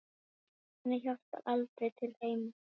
Nonni hjálpar aldrei til heima.